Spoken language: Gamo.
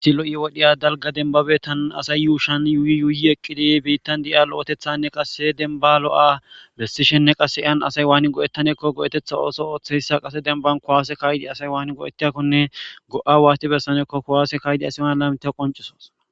Issi lo'i wodhiya dalga denbabe tana asay yuushan yuuyi yuuyi eqqidi biittan di'ia lo'etethanne qasse denba lo'a bessishenne qasse iyan asay waani go'ettanekko go'etetha ooso ooththeyssa qase denban kowaase kaydi asay waani go'etiakkone go'a waasti bessanekko kuwaase kaydi asiman laymita qoncisos